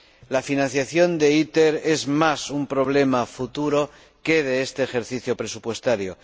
La financiación de ITER es más un problema futuro que un problema de este ejercicio presupuestario.